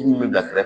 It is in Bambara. bila kɛrɛfɛ